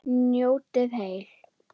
Njótið heil.